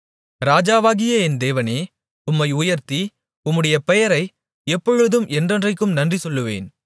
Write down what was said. ராஜாவாகிய என் தேவனே உம்மை உயர்த்தி உம்முடைய பெயரை எப்பொழுதும் என்றென்றைக்கும் நன்றிசொல்லுவேன்